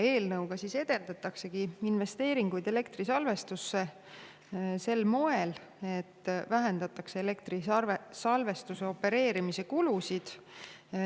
Eelnõuga edendataksegi investeeringuid elektrisalvestusse sel moel, et vähendatakse elektrisalvestuse opereerimise kulusid.